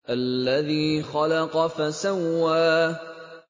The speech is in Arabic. الَّذِي خَلَقَ فَسَوَّىٰ